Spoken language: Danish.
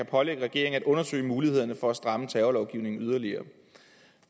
pålægge regeringen at undersøge mulighederne for at stramme terrorlovgivningen yderligere